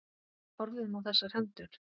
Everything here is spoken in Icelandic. Horfðum á þessar hendur.